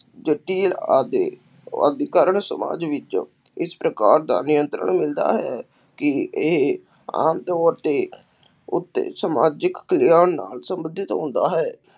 ਆਦਿ ਅੱਜ ਕੱਲ੍ਹ ਸਮਾਜ ਵਿੱਚ ਇਸ ਪ੍ਰਕਾਰ ਦਾ ਨਿਯੰਤਰਣ ਮਿਲਦਾ ਹੈ ਕਿ ਇਹ ਆਮ ਤੌਰ 'ਤੇ ਉੱਤੇ ਸਮਾਜਿਕ ਨਾਲ ਸੰਬੰਧਿਤ ਹੁੰਦਾ ਹੈ।